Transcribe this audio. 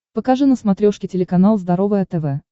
покажи на смотрешке телеканал здоровое тв